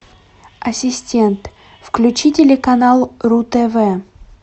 ассистент включи телеканал ру тв